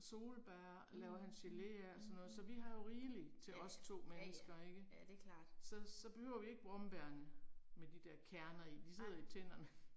Solbær laver han gele af og sådan noget, så vi har jo rigelig til os 2 mennesker ikke. Så så behøver vi ikke brombærene med de der kerner i. De sidder i tænderne